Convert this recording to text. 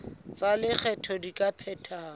tsa lekgetho di ka phethahatswa